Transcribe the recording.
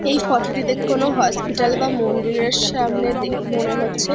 এই ফটোটি দেখে কোনো হসপিটাল বা মন্দিরের সামনে দেখি মনে হচ্ছে।